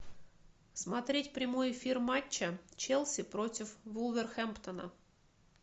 смотреть прямой эфир матча челси против вулверхэмптона